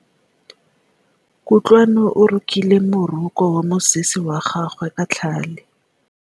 Kutlwanô o rokile morokô wa mosese wa gagwe ka tlhale.